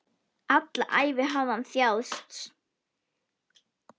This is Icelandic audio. Alla ævi hafði hann þjáðst.